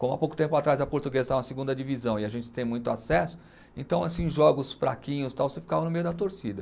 Como há pouco tempo atrás a portuguesa estava na segunda divisão e a gente não tem muito acesso, então assim em jogos fraquinhos tal, você ficava no meio da torcida.